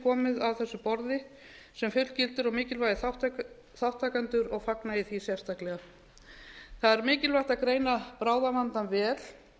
komið að þessu borði sem fullgildir og mikilvægir þátttakendur og fagna ég því sérstaklega það er mikilvægt að greina bráðavandann vel